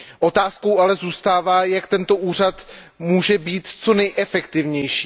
Otázkou ale zůstává, jak tento úřad může být co nejefektivnější.